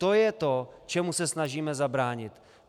To je to, čemu se snažíme zabránit.